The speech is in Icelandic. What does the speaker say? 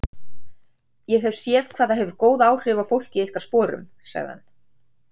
Ég hef séð hvað það hefur góð áhrif á fólk í ykkar sporum, sagði hann.